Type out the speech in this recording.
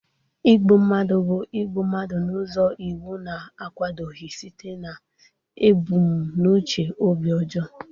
Igbu mmadụ bụ igbu mmadụ n'ụzọ iwu na-akwadoghị site n'ebumnuche obi ọjọọ.